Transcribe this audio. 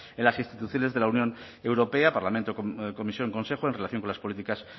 en las instituciones de la unión europea parlamento comisión consejo en relación con las políticas